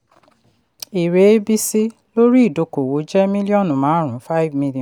èrè abc lórí idókòwò jẹ́ míllíọ̀nù márùn-ún five million